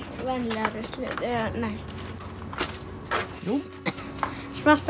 venjulega ruslið nei jú svarta